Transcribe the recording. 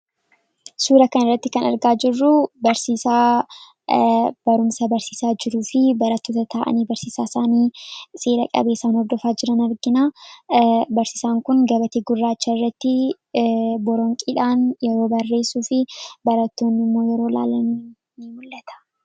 Suura kana irratti kan argaa jirruu barsiisaa barumsa barsiisaa jiruu fi baratoota ta'anii barsiisaa isaanii seera-qabeesaan hordofaa jiran argina. Barsiisaan kun gabatee gurraachaa irratti boronqiidhaan yeroo barreessuu fi baratoonni yeroo laalan ni mul'ata.